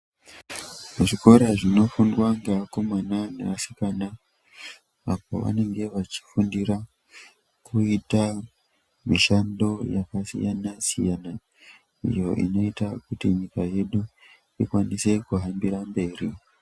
Zvikora zvinofundwa ngevakomana nevasikana apo vanenge vachifundira kuita mishando yakasiyana-siyana iyo inoita kuti nyika yedu ikwanise kuhambira mberi.